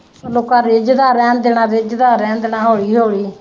ਲੋਕਾਂ ਰਿਜਦਾ ਰਹਿਣ ਦੇਣਾ ਰਿਜਦਾ ਰਹਿਣ ਦੇਣਾ ਹੋਲੀ ਹੋਲੀ।